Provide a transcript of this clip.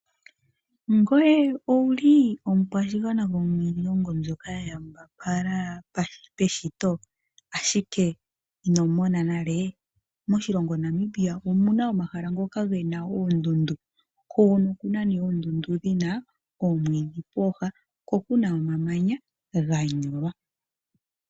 Ngoye owuli omukwashigwana gomiilongo mbyoka yawambapala peshito, ashike ino mona nale? Moshilongo Namibia omuna omahala ngoka gena oondundu. Okuna oondundu dhina oomwiidhi pooha, po opuna omamanya ganyolwa.